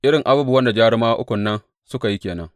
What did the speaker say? Irin abubuwan da jarumawa ukun nan suka yi ke nan.